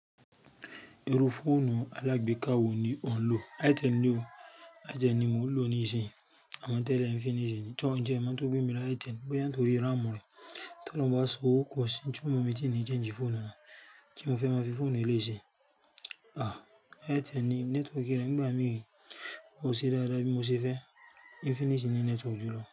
Irú fóònù alágbéka wo ni ò ń lò? Itel ni o, Itel ni mo ń lò ní ìsín, àmọ tẹ́lẹ̀ Infinix ni. Tọ̀ọ́ ń ti e mo n tó gbé mi lo Itel, bóyá nítorí RAM rẹ̀, tí ọlọ́hun bá ṣe owó, kò sí n ti o mu mi, tí n ni change fóònù náà. Kí ni mo fẹ́ máa fi fóònù eléyìí ṣe. Itel ni, network rẹ̀ nígbà mií, kò ṣe dáadáa bí mo ṣe fẹ́, Infinix ni network jù lọ.